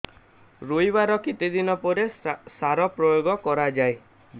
ରୋଈବା ର କେତେ ଦିନ ପରେ ସାର ପ୍ରୋୟାଗ କରିବା ଦରକାର